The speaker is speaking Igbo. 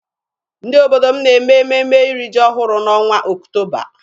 Ndị obodo m na-eme ememe iri ji ọhụrụ n'ọnwa Ọktoba.